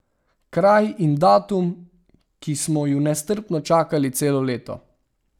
Kraj in datum, ki smo ju nestrpno čakali celo leto.